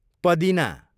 पदिना